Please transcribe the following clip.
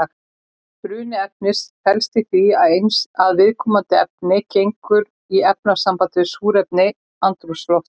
Bruni efnis felst í því að viðkomandi efni gengur í efnasamband við súrefni andrúmsloftsins.